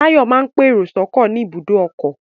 Táyọ̀ máa ń pèrò sọ́kọ̀ ní ibùdó ọkọ̀